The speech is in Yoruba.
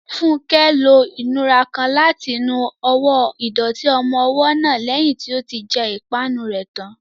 Funke lo ìnura kan láti nu ọwọ́ ìdọ̀tí ọmọ ọwọ́ náà lẹ́yìn tí ó ti jẹ ìpanu rẹ̀ tán.